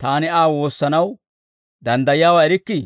taani Aa woossanaw danddayiyaawaa erikkii?